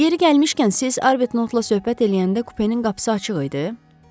Yeri gəlmişkən, siz Arbetnotla söhbət eləyəndə kupenin qapısı açıq idi?